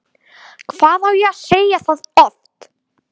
Hvað á ég að segja það oft?!